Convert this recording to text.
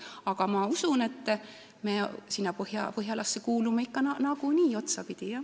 Aga ma usun, et me Põhjalasse kuulume otsapidi nagunii.